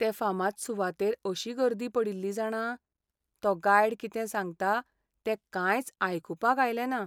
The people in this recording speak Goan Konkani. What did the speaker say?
ते फामाद सुवातेर अशी गर्दी पडिल्ली जाणा, तो गायड कितें सांगता तें कांयच आयकुपाक आयलें ना.